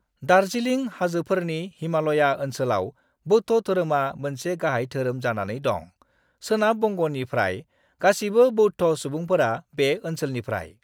दार्जिलिं हाजोफोरनि हिमाल'या ओनसोलाव बौद्ध धोरोमा मोनसे गाहाय धोरोम जानानै दं; सोनाब बंग'नि फ्राय गासिबो बौद्ध सुबुंफोरा बे ओनसोलानिफ्राय।